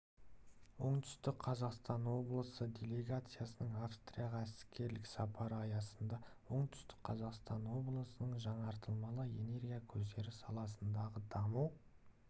оңтүстік қазақстан облысы делегациясының австрияға іскерлік сапары аясында оңтүстік қазақстан облысының жаңартылмалы энергия көздері саласындағы даму